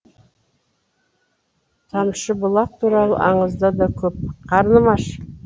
тамшыбұлақ туралы аңызда да көп қарным аш